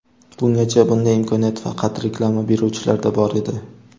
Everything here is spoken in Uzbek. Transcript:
Bungacha bunday imkoniyat faqat reklama beruvchilarda bor edi.